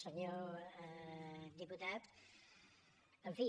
senyor diputat en fi